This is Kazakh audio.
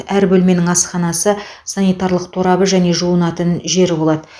әр бөлменің асханасы санитарлық торабы мен жуынатын жері болады